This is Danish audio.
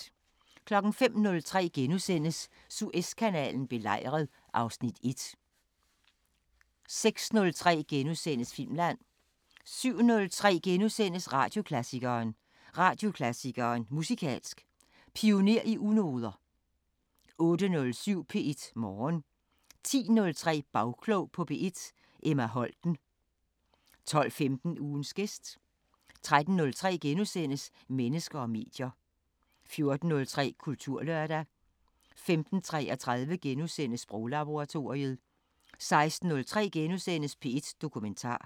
05:03: Suezkanalen belejret (Afs. 1)* 06:03: Filmland * 07:03: Radioklassikeren: Radioklassikeren: Musikalsk Pioner i unoder * 08:07: P1 Morgen 10:03: Bagklog på P1: Emma Holten 12:15: Ugens gæst 13:03: Mennesker og medier * 14:03: Kulturlørdag 15:33: Sproglaboratoriet * 16:03: P1 Dokumentar *